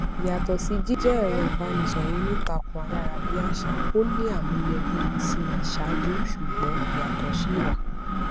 yàtò sí jíjé èrọ ìbánisòrò onítàkùn ayára bí àṣá ó ní àmúyẹ bíi ti ìṣáájú ṣùgbón ìyàtò sì wà